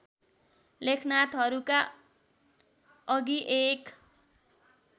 लेखनाथहरूका अघि एक